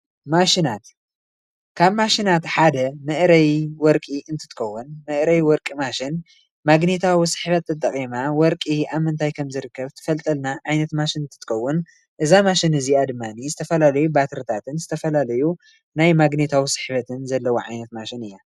ማሽናት ካብ ማሽናት ሓደ መእረይ ወርቂ እትትከውን መእረይ ወርቂ ማሽን ማግኔታዊ ስሕበት ተጠቂማ ወርቂ ኣብ ምንታይ ከምዝርከብ ትፈልጠና ዓይነት ማሽን እንትትከውን እዛ ማሽን እዚኣ ድማ ዝተፈላለዩ ባትርታትን ዝተፈላለዩ ናይ ማግኔታዊ ስሕበትን ዘለዋ ዓይነት ማሽን እያ።